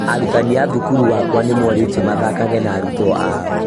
Arutani a thũkũru wakwa nĩ morĩtio mathekage na arutwo ao